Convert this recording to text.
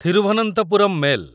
Thiruvananthapuram mail